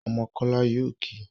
Ọmọ kola yóò kí